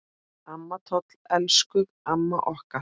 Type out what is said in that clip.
Amma Toll, elsku amma okkar.